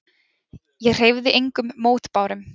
Ég hreyfði engum mótbárum.